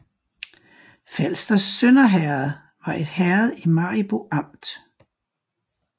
Falsters Sønder Herred var et herred i Maribo Amt